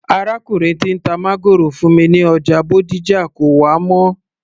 Arákùnrin tí ń ta máńgòrò fún mi ní ọjà Bódìjà kò wá mọ́